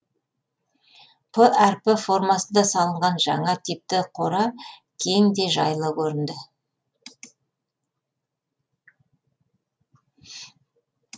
п әрпі формасында салынған жаңа типті қора кең де жайлы көрінді